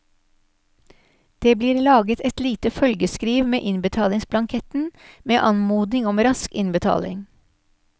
Det blir laget et lite følgeskriv med innbetalingsblanketten, med anmodning om rask innbetaling.